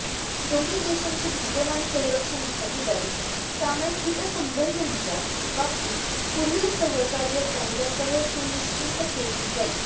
दोन्ही देशांची विद्यमान संरक्षण भागीदारी सामायिक हितसंबंधांच्या बाबतीत पुढील सहकार्य त्यांच्यासह सुनिश्चित केली जाईल